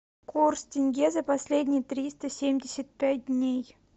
курс тенге за последние триста семьдесят пять дней